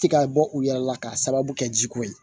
Ti ka bɔ u yɛrɛ la k'a sababu kɛ ji ko ye